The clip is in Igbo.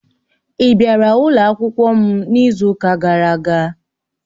Ị bịara ụlọ akwụkwọ m n'izu ụka gara aga?